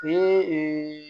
Ni